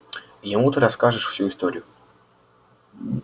ему ты расскажешь всю историю